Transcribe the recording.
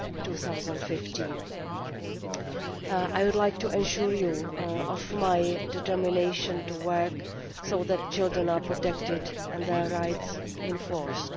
2015. I would like to assure you of my determination to work to ensure that children are protected and their rights enforced.